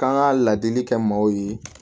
K'an ka ladili kɛ maaw ye